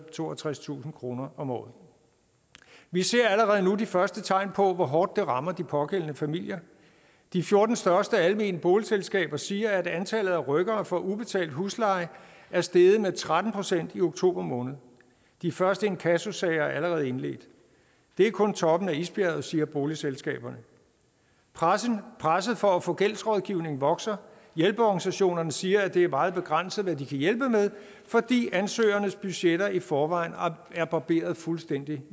og toogtredstusind kroner om året vi ser allerede nu de første tegn på hvor hårdt det rammer de pågældende familier de fjorten største almene boligselskaber siger at antallet af rykkere for ubetalt husleje er steget med tretten procent i oktober måned de første inkassosager er allerede indledt det er kun toppen af isbjerget siger boligselskaberne presset presset for at få gældsrådgivning vokser hjælpeorganisationerne siger at det er meget begrænset hvad de kan hjælpe med fordi ansøgernes budgetter i forvejen er barberet fuldstændig